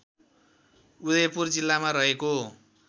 उदयपुर जिल्लामा रहेको